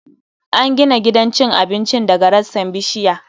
An gina gidan cin abincin daga rassan bishiya